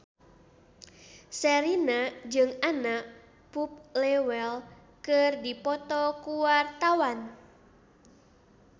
Sherina jeung Anna Popplewell keur dipoto ku wartawan